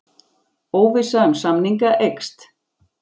Óvissa um samninga eykst